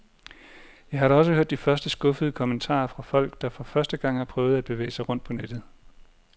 Jeg har da også hørt de første skuffede kommentarer fra folk, der for første gang har prøvet at bevæge sig rundt på nettet.